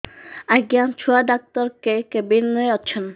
ଆଜ୍ଞା ଛୁଆ ଡାକ୍ତର କେ କେବିନ୍ ରେ ଅଛନ୍